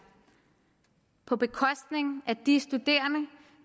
på bekostning af de studerende